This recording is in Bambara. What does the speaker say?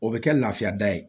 O bɛ kɛ lafiya da ye